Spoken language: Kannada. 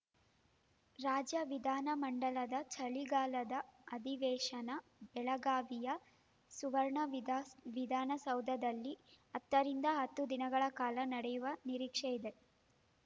ರಾಜ್ಯ ವಿಧಾನಮಂಡಲದ ಚಳಿಗಾಲದ ಅಧಿವೇಶನ ಬೆಳಗಾವಿಯ ಸುವರ್ಣ ವಿಧಾ ವಿಧಾನಸೌಧದಲ್ಲಿ ಹತ್ತರಿಂದ ಹತ್ತು ದಿನಗಳ ಕಾಲ ನಡೆಯುವ ನಿರೀಕ್ಷೆ ಇದೆ